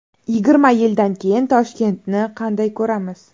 Yigirma yildan keyin Toshkentni qanday ko‘ramiz?